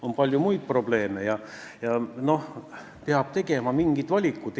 On palju muid probleeme ja peab tegema mingeid valikuid.